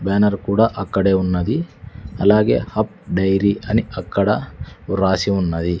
Banner కూడా అక్కడే ఉన్నది అలాగే అప్ డైరీ అని అక్కడ వ్రాసి ఉన్నది.